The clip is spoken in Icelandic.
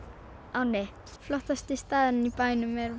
ánni flottasti staðurinn í bænum er